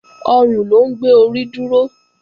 Ọrùn ló ń gbé orí dúró